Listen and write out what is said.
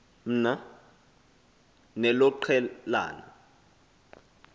mna nelo qelana